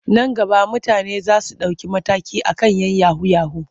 Nan gaba mutane za su ɗauki mataki a kan 'yan yahu-yahu.